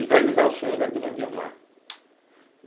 E realizar o sonho da dona Guiomar.